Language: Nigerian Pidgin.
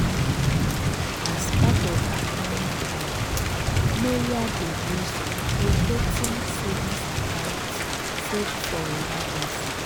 as part of her money plan maria dey use rotating savings account save for emergency.